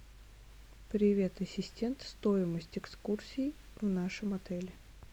привет ассистент стоимость экскурсии в нашем отеле